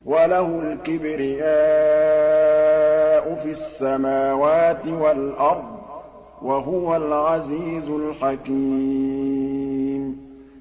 وَلَهُ الْكِبْرِيَاءُ فِي السَّمَاوَاتِ وَالْأَرْضِ ۖ وَهُوَ الْعَزِيزُ الْحَكِيمُ